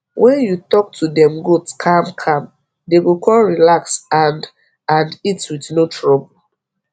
wen u talk to dem goat calm calm dey go kon relax and and eat with no trouble